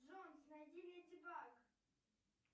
джонс найди леди баг